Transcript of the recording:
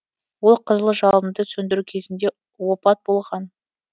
ол қызыл жалынды сөндіру кезінде опат болған